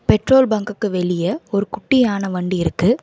Petrol பங்குக்கு வெளிய ஒரு குட்டியான வண்டி இருக்கு.